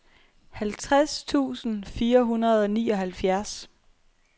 halvtreds tusind fire hundrede og nioghalvfjerds